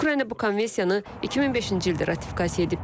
Ukrayna bu konvensiyanı 2005-ci ildə ratifikasiya edib.